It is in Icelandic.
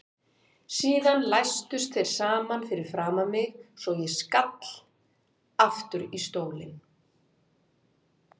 Síðan læstust þeir saman fyrir framan mig svo ég skall aftur í stólinn.